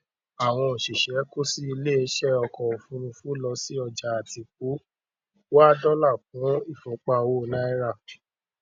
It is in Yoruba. àwọn òṣìṣẹ kò sí iléeṣẹ ọkọ òfuurufú lọ sí ọjà àtìpó wá dọlà kún ìfúnpá owó náírà